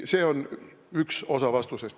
See on üks osa vastusest.